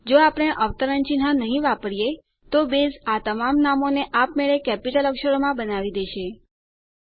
જો આપણે અવતરણ ચિન્હ નહી વાપરીએ તો બેઝ આ તમામ નામોને આપમેળે કેપિટલ અક્ષરોમાં બનાવી દેશે